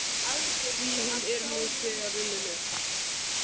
Því hún er nú þegar runnin upp.